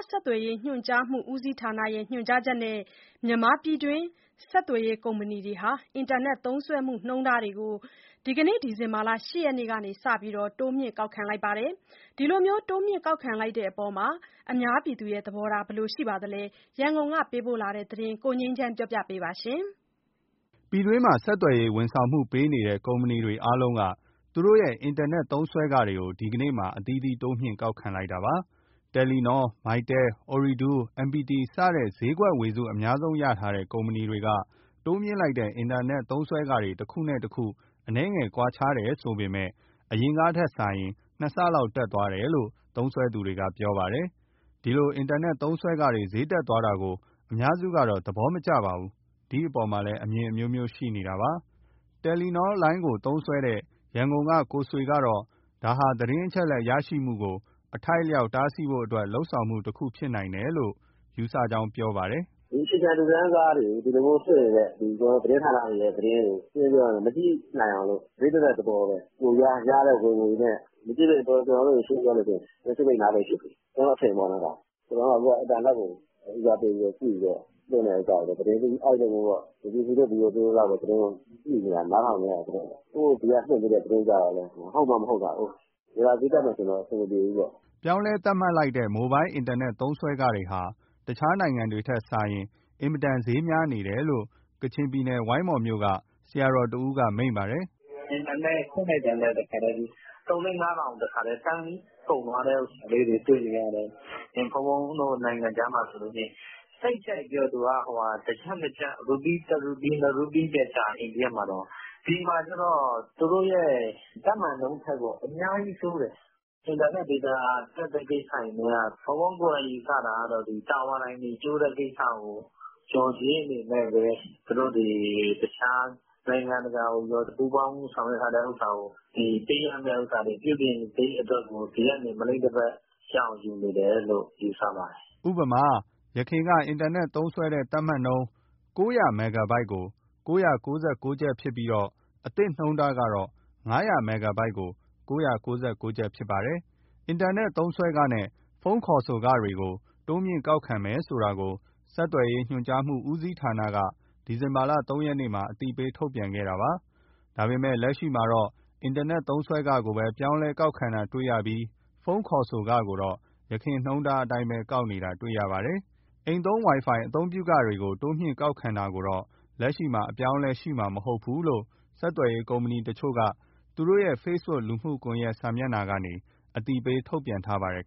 ဆက်သွယ်ရေး ညွှန်ကြားမှု ဦးစီးဌာနရဲ့ ညွှန်ကြားချက်နဲ့ မြန်မာပြည်တွင်း ဆက်သွယ်ရေး ကုမ္ပဏီတွေဟာ အင်တာနက်သုံးစွဲမှု နှုန်းထားတွေကို ဒီနေ့ ဒီဇင်ဘာလ ၈ ရက်ကစပြီး တိုးမြှင့်ကောက်ခံလိုက်ပါတယ်။ ဒီလိုတိုးမြှင့်ကောက်ခံလိုက်တဲ့အပေါ် အများပြည်သူတွေရဲ့ သဘောထားကရော ဘယ်လိုရှိပါလဲ။ ရန်ကုန်ကပေးပို့လာတဲ့ ဒီသတင်းကို ကိုငြိမ်းချမ်း ပြောပြမှာပါ။ ပြည်တွင်းမှာ ဆက်သွယ်ရေးဝန်ဆောင်မှု ပေးနေတဲ့ ကုမ္ပဏီတွေအားလုံးက သူတို့ရဲ့ အင်တာနက်သုံးစွဲခတွေကို ဒီနေ့မှာ အသီးသီး တိုးမြှင့် ကောက်ခံလိုက်တာပါ။ Telenor, Mytel, Ooredoo, MPT စတဲ့ ဈေးကွက်ဝေစု အများဆုံးရထားတဲ့ ကုမ္ပဏီတွေ တိုးမြှင့်လိုက်တဲ့ အင်တာနက်သုံးစွဲခတွေ တခုနဲ့တခု အနည်းငယ်ကွာခြားတယ် ဆိုပေမယ့် အရင်ကထက်စာရင် နှစ်ဆ တက်သွားတယ်လို့ သုံးစွဲသူတွေက ပြောပါတယ်။ ဒီလို အင်တာနက်သုံးစွဲခတွေ ဈေးတက်သွားတာကို အများစုကတော့ သဘောမကျကြပါဘူး။ ဒီအပေါ်မှာလည်း အမြင်အမျိုးမျိုး ရှိနေကြတာပါ။ Telenor လိုင်းကို သုံးစွဲနေတဲ့ ရန်ကုန်က ကိုဆွေကတော့ ဒါဟာ သတင်းအချက်အလက် ရရှိမှုကို အထိုက်အလျောက် တားဆီးဖို့အတွက် လုပ်ဆောင်မှုတခု ဖြစ်နိုင်တယ်လို့ သူယူဆပါတယ်။ “ဒီအခြေခံလူတန်းစားတွေ ဒီလိုမျိုးလွှင့်နေတဲ့ သတင်းဌာနတွေရဲ့ သတင်းတွေ မကြည့်နိုင်အောင်လို့ ဈေးတက်တဲ့သဘောပဲ။ ကိုယ်ရတဲ့ဝင်ငွေနဲ့ ရှင်းရှင်းပြောရရင် ကျနော်တို့ မျက်စိပိတ်နားပိတ်ဖြစ်ပြီ၊ ကျနော့အထင်ပေါ့နော် ဒါ။ အခုက ကျနော်တို့က အင်တာနက်ကို ဦးစားပေးကြည့်ပြီးတော့ လွှင့်တဲ့ဟာကို အဲလိုမျိုး BBC တို့ VOA တို့လောက်ပဲ သတင်းကို ကြည့်နေရတာ၊ နားထောင်နေရတာဆိုတော့၊ သူတို့ ဒီကလွှင့်ပေးတဲ့ သတင်းကျတော့လည်း ဟုတ်မှမဟုတ်တာကိုး။ ဒေတာဈေးတက်မယ်ဆိုရင်တော့ အဆင်မပြေဘူးပေါ့။” ပြောင်းလဲသတ်မှတ်လိုက်တဲ့ မိုဘိုင်းအင်တာနက် သုံးစွဲခတွေဟာ တခြားနိုင်ငံတွေထက်စာရင် အဆမတန် ဈေးများနေတယ်လို့ ကချင်ပြည်နယ် ဝိုင်းမော်မြို့က ဆရာတော်တဦးက မိန့်ပါတယ်။ “အင်တာနက်ဖွင့်လိုက်တာနဲ့ တခါတည်း သုံးလေးငါးထောင် တခါတည်း တန်းပြီးတော့ ကုန်သွားတဲ့ဟာလေးတွေ တွေ့နေရတယ်။ ဘုန်းဘုန်းတို့ နိုင်ငံခြားမှာဆိုရင် စိတ်ကြိုက်ပြော ရူပီး တရူပီး နှစ်ရူပီးပဲကျတယ်၊ အိန္ဒိယမှာတောင်။ ဒီမှာကျတော့ သူတို့ရဲ့ သတ်မှတ်နှုန်းထက်ကို အများကြီးဆိုးတယ်။ အင်တာနက်ဒေတာတက်တဲ့ ကိစ္စတွေနဲ့က ဘုန်းဘုန်းကိုယ်တိုင် ယူဆတာကတော့ ဒီတာဝါတိုင်တွေ ကျိုးတဲ့ကိစ္စကို လျော်ကြေးအနေနဲ့ပဲ၊ နိုင်ငံတကာ ပူးပေါင်းဆောင်ရွက်ထားတဲ့ ပေးရမယ့်ဟာ ပြုပြင်စရိတ်အတွက်ကို ဒီကနေ မလိမ့်တပတ် ရအောင်ယူနေတယ်လို့ ယူဆပါတယ်။” ဥပမာ ယခင်က အင်တာနက်သုံးစွဲတဲ့ သတ်မှတ်နှုန်းက ၉၀၀ မက်ဂါဘိုက်ကို ၉၉၉ ကျပ်ဖြစ်ပြီး အသစ်နှုန်းထားကတော့ ၅၀၀ မက်ဂါဘိုက်ကို ၉၉၉ ကျပ် ဖြစ်ပါတယ်။ အင်တာနက်သုံးစွဲခနဲ့ ဖုန်းခေါ်ဆိုမှုတွေ တိုးမြှင့်ကောက်ခံမယ် ဆိုတာကို ဆက်သွယ်ရေးညွှန်ကြားမှု ဦးစီးဌာနက ဒီဇင်ဘာလ ၃ ရက်မှာ အသိပေး ထုတ်ပြန်ခဲ့တာပါ။ ဒါပေမယ့် လက်ရှိအချိန်အထိတော့ အင်တာနက်သုံးစွဲခကိုပဲ ပြောင်းလဲကောက်ခံတာ တွေ့ရပြီး ဖုန်းခေါ်ဆိုမှုကိုတော့ ယခင်နှုန်းထားအတိုင်းပဲ ယူတာ တွေ့ရပါတယ်။ အိမ်သုံးဝိုင်ဖိုင်တွေ တိုးမြှင့်ကောက်ခံတာကိုတော့ လက်ရှိမှာ အပြောင်းအလဲရှိမှာ မဟုတ်ဘူးလို့ ဆက်သွယ်ရေးကုမ္ပဏီတချို့က သူ့တို့ရဲ့ ဖေ့စ်ဘုတ်လူမှုကွန်ရက်ကနေ အသိပေး ထုတ်ပြန်ထားပါတယ်